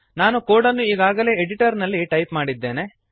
ನಾನು ಕೋಡನ್ನು ಈಗಾಗಲೇ ಎಡಿಟರ್ನಲ್ಲಿ ಟೈಪ್ ಮಾಡಿದ್ದೇನೆ